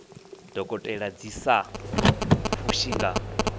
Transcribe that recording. dokotela dzi sa fushi nga